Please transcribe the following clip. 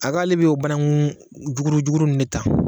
A k'ale bɛ o banankun jukurun ninnu de ta